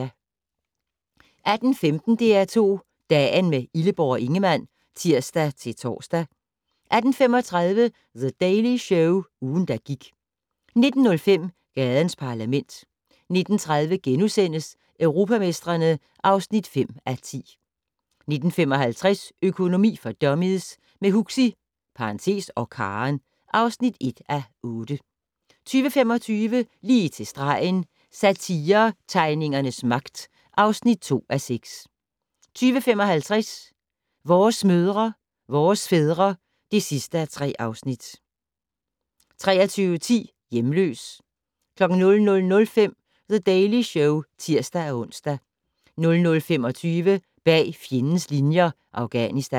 18:15: DR2 Dagen - med Illeborg og Ingemann (tir-tor) 18:35: The Daily Show - ugen, der gik 19:05: Gadens Parlament 19:30: Europamestrene (5:10)* 19:55: Økonomi for dummies - med Huxi (og Karen) (1:8) 20:25: Lige til stregen - Satiretegningernes magt (2:6) 20:55: Vores mødre, vores fædre (3:3) 23:10: Hjemløs 00:05: The Daily Show (tir-ons) 00:25: Bag fjendens linjer - Afghanistan